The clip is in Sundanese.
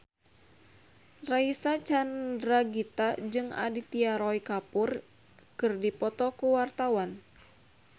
Reysa Chandragitta jeung Aditya Roy Kapoor keur dipoto ku wartawan